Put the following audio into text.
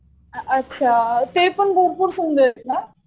अच्छा. ते पण भरपूर सुंदर आहेत ना.